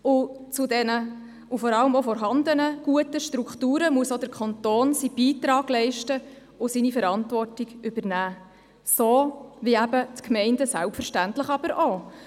Zu den vorhandenen guten Strukturen muss auch der Kanton seinen Beitrag leisten und seine Verantwortung übernehmen – so wie die Gemeinden selbstverständlich auch.